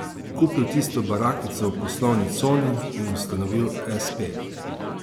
Kupil tisto barakico v poslovni coni in ustanovil espe.